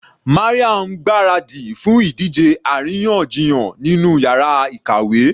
Maryam ń gbáradì fún ìdíje àríyànjiyàn nínú yàrá ìkàwé.